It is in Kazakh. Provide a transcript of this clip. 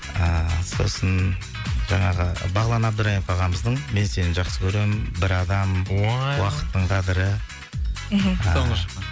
ыыы сосын жаңағы бағлан әбдірайымов ағамыздың мен сені жақсы көремін бір адам уақыттың қадірі мхм соңғы шыққан